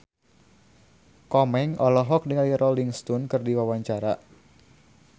Komeng olohok ningali Rolling Stone keur diwawancara